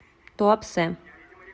туапсе